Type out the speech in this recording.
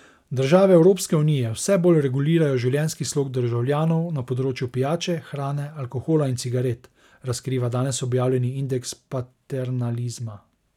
Države Evropske unije vse bolj regulirajo življenjski slog državljanov na področju pijače, hrane, alkohola in cigaret, razkriva danes objavljeni indeks paternalizma.